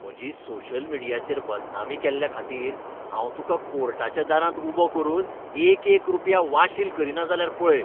म्हजी सोशल मीडियाचेर बदनामी केल्ल्याखातीर हांव तुकां कोर्टाच्या दारांत उबो करून एकएक रुपया वाशील करीना जाल्यार पळय.